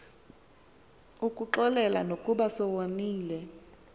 ukuxolela nokuba sewoniwe